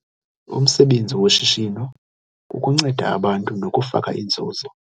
Umsebenzi woshishino kukunceda abantu nokufaka inzuzo.